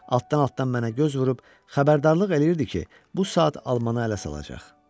Altdan-altdan mənə göz vurub xəbərdarlıq eləyirdi ki, bu saat alman ələ salacaq.